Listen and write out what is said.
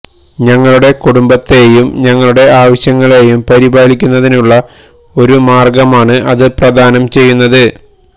ഞങ്ങളുടെ കുടുംബത്തെയും ഞങ്ങളുടെ ആവശ്യങ്ങളെയും പരിപാലിക്കുന്നതിനുള്ള ഒരു മാർഗമാണ് അത് പ്രദാനം ചെയ്യുന്നത്